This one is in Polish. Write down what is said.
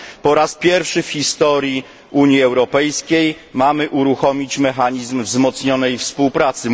Po raz pierwszy w historii Unii Europejskiej mamy uruchomić mechanizm wzmocnionej współpracy.